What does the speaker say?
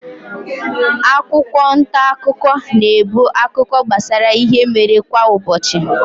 Akwụkwọ ntaakụkọ na-ebu akụkọ gbasara ihe mere kwa ụbọchị.